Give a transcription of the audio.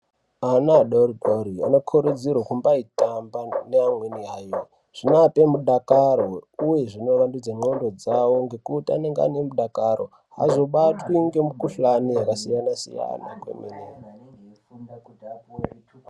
Ana adori dori anokurudziru kumbai tambaneamweni ana zvinoape mudakarouye zvino wandudze ndxondo dzawo ngekuti anenge ane mudakaro azobatwi ngemukuhlani yakasiyana siya na.